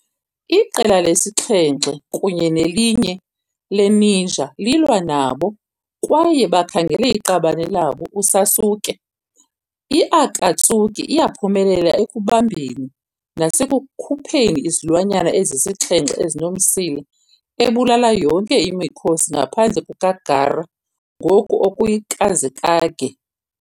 Iqela lesi-7 kunye nelinye le-ninja lilwa nabo kwaye bakhangele iqabane labo uSasuke. I-Akatsuki iyaphumelela ekubambeni nasekukhupheni izilwanyana ezisixhenxe ezinomsila, ebulala yonke imikhosi ngaphandle kukaGaara, ngoku oyi-Kazekage.